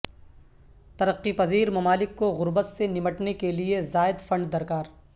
ترقی پذیر ممالک کو غربت سے نمٹنے کے لئے زائد فنڈ درکار